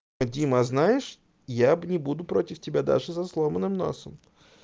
дима знаешь я бы не буду против тебя даже со сломанным носом